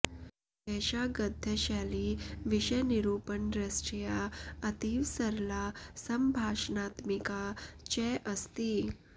एषा गद्यशैली विषयनिरूपणदृष्ट्या अतीव सरला सम्भाषणात्मिका च अस्ति